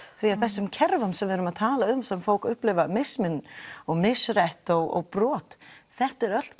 því þessum kerfum sem við erum að tala um sem fólk upplifir mismun og misrétt og brot þetta eru allt